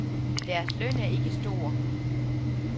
Deres løn er ikke stor.